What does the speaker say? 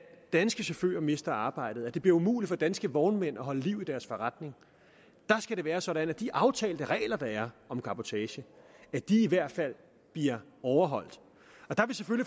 danske chauffører mister arbejdet og det bliver umuligt for danske vognmænd at holde liv i deres forretning der skal det være sådan at de aftalte regler der er om cabotage i hvert fald bliver overholdt der